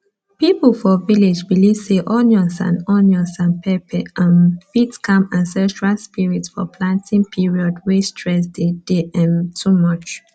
people for village believe say onions and onions and pepper um fit calm ancestral spirit for planting period way stress dey day um too much